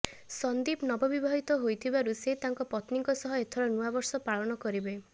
ସନ୍ଦୀପ ନବବିବାହିତ ହୋଇଥିବାରୁ ସେ ତାଙ୍କ ପତ୍ନୀଙ୍କ ସହ ଏଥର ନୂଆବର୍ଷ ପାଳନ କରିବେ